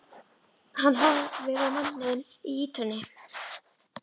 Hann horfir á manninn í ýtunni.